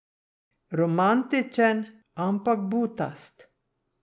Romantičen, ampak butast.